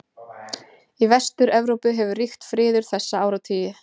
Í Vestur-Evrópu hefur ríkt friður þessa áratugi.